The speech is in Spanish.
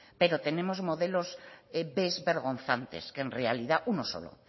pero tenemos modelos b vergonzantes que en realidad uno solo